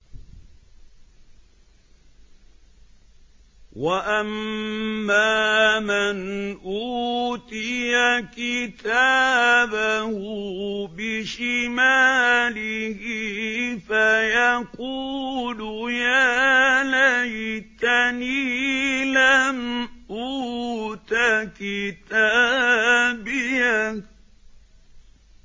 وَأَمَّا مَنْ أُوتِيَ كِتَابَهُ بِشِمَالِهِ فَيَقُولُ يَا لَيْتَنِي لَمْ أُوتَ كِتَابِيَهْ